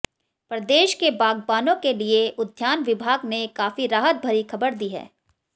प्रदेश के बागबानों के लिए उद्यान विभाग ने काफी राहत भरी खबर दी है